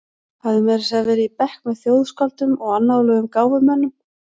Hafði meira að segja verið í bekk með þjóðskáldum og annáluðum gáfumönnum.